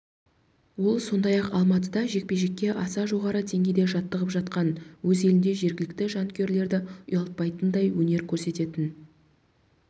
ол сондай-ақ алматыда жекпе-жекке аса жоғары деңгейде жаттығып жатқанын өз елінде жергілікті жанкүйерлерді ұялтпайтындай өнер көрсететінін